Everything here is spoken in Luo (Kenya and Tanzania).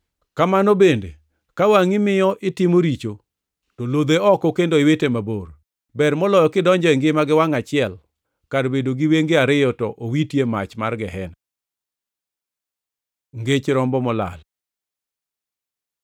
Kamano bende ka wangʼi miyo itimo richo to lodhe oko kendo iwite mabor. Ber moloyo kidonjo e ngima gi wangʼ achiel kar bedo gi wenge ariyo to owiti e mach mar Gehena. Ngech rombo molal